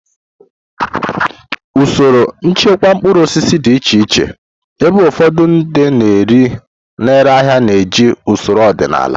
Usoro nchekwa mkpụrụ osisi dị iche iche, ebe ụfọdụ ndị na-ere ahịa na-eji usoro ọdịnala.